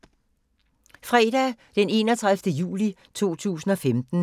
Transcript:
Fredag d. 31. juli 2015